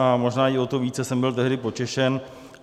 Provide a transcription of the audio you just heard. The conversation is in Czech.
A možná i o to více jsem byl tehdy potěšen.